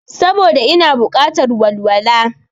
Saboda ina bukatar walwala